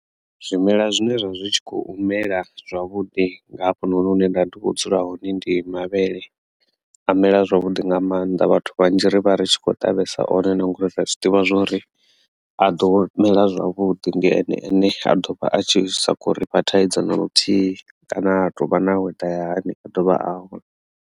Zwimela zwine zwa zwi tshi kho u mela zwavhuḓi nga hafhanoni hune nda vha ndi kho dzula hone ndi mavhele a mela zwavhuḓi nga maanḓa vhathu vhanzhi ri vha ri tshi kho ṱavhesa one na ngori ri a zwi ḓivha zwori a ḓo mela zwavhuḓi ndi ene ane a dovha a tshi sa khou rifha thaidzo na luthihi kana ha tovha na weather ya hani a ḓovha a hone.